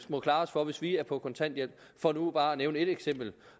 må klare os for hvis vi er på kontanthjælp for nu bare at nævne et eksempel